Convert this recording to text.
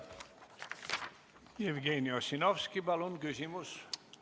Jevgeni Ossinovski, palun, küsimus!